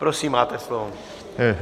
Prosím, máte slovo.